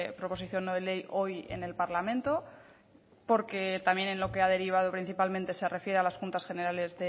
proposición no de ley hoy en el parlamento porque también en lo que ha derivado principalmente se refiere a las juntas generales